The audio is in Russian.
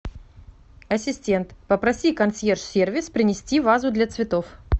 ассистент попроси консьерж сервис принести вазу для цветов